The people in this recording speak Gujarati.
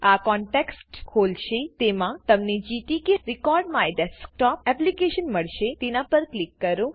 આ કોન્ટેક્સટ ખોલશે તેમાં તમને gtk recordMyDesktopએપ્લીકેશન મળશે તેના પર ક્લિક કરો